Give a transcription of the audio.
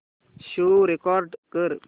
show record कर